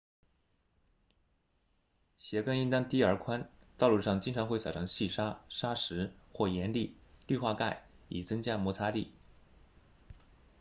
鞋跟应该低而宽道路上经常会撒上细沙砂石或盐粒氯化钙以增加摩擦力